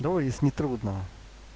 давай если не трудно